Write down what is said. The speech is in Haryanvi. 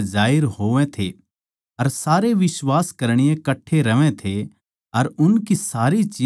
अर सारे बिश्वास करणीये कट्ठे रहवै थे अर उनकी सारी चीज साझे म्ह थी